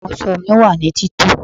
Àwọn aṣọ mí wá ní tito